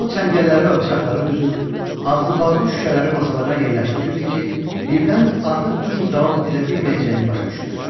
O çəngəlləri və bıçaqları düzür, ağzı bağlı şüşələri masalara yerləşdirirdi ki, birdən artıq bu cür davam edə bilməyəcəyini başa düşdü.